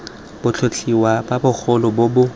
botlhotlhwa bo bogolo bo bo